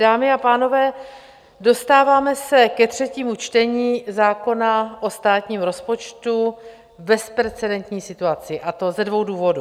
Dámy a pánové, dostáváme se ke třetímu čtení zákona o státním rozpočtu v bezprecedentní situaci, a to ze dvou důvodů.